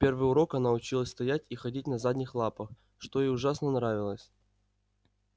в первый урок она училась стоять и ходить на задних лапах что ей ужасно нравилось